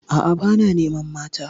A'a, ba na neman mata.